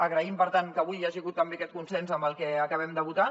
agraïm per tant que avui hi hagi hagut també aquest consens amb el que acabem de votar